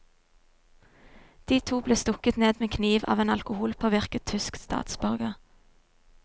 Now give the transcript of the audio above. De to ble stukket ned med kniv av en alkoholpåvirket tysk statsborger.